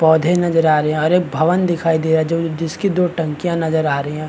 पौधे नजर आ रहे है और एक भवन दिखाई दे रहा है जो जिसकी दो टंकिया नजर आ रही है।